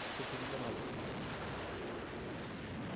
খুব সুন্দর হবে